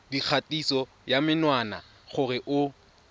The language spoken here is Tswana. dikgatiso ya menwana gore o